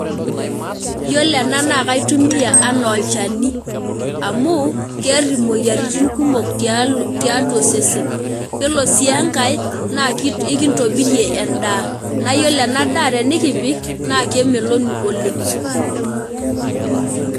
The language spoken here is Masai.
Iyiolo ena na kaitumia anaa olchani amu kear omoyiaritin kumok tiatua osesen iyiolo si enkae na ekintobirie endaa nayiolo enadaa na kemeloku oleng .